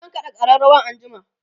zan kaɗa ƙararawar anjima